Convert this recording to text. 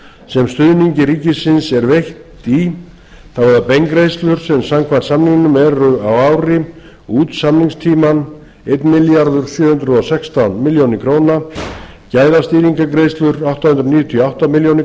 sem stuðningi ríkisins er veitt í það er beingreiðslur sem samkvæmt samningnum eru á ári út samningstímann einn milljarður sjö hundruð og sextán milljónum króna gæðastýringargreiðslur átta hundruð níutíu og átta milljónir